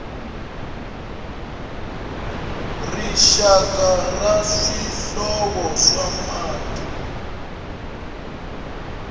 rixaka ra swihlovo swa mati